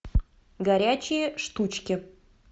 горячие штучки